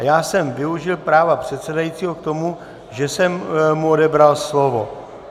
A já jsem využil práva předsedajícího k tomu, že jsem mu odebral slovo.